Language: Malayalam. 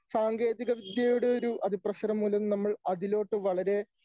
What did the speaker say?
സാങ്കേതികവിദ്യയുടെ ഒരു അതിപ്രസരം മൂലം നമ്മൾ അതിലോട്ടു വളരെ